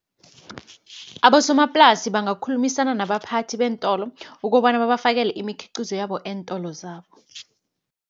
Abosomaplasi bangakhulumisana nabaphathi beentolo, ukobana babafakela imikhiqizo yabo eentolo zabo.